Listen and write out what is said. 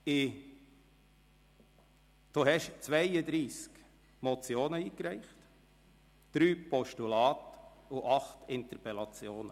Sie haben 32 Motionen eingereicht, 3 Postulate und 8 Interpellationen.